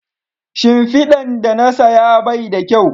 Shimfidan da na saya Bai da kyau